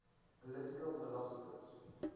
political philosophers